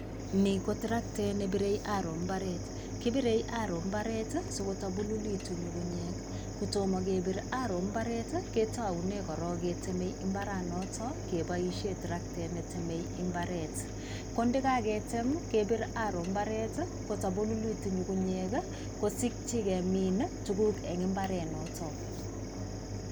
Ni ko traktet nepirei arrow mbaret. Kipirei arrow mbaret sokotabululitu nying'unyek. Kotomo kepir arrow mbaret, ketoune korok keteme mbaranoto kepoishe traktet netemei mbaret. Ko ndekaketem, kepir arrow mbaret, kotabululitu nying'unyek kosikyi kemin tuguk eng mbarenoto.